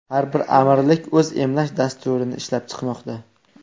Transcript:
Har bir amirlik o‘z emlash dasturini ishlab chiqmoqda.